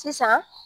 Sisan